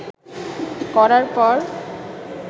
করার পর